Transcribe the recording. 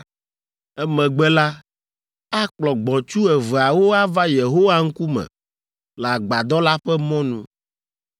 Emegbe la, akplɔ gbɔ̃tsu eveawo ava Yehowa ŋkume le Agbadɔ la ƒe mɔnu,